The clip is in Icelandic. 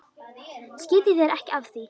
Skiptu þér ekki af því.